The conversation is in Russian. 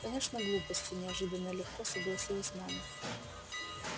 конечно глупости неожиданно легко согласилась мама